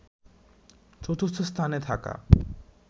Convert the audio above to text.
চতুর্থ স্থানে থাকা